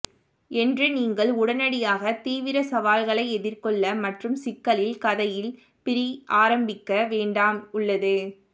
என்று நீங்கள் உடனடியாக தீவிர சவால்களை எதிர்கொள்ள மற்றும் சிக்கலில் கதையில் பிரி ஆரம்பிக்க வேண்டாம் உள்ளது